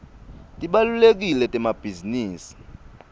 tibalulekile temabhizinisi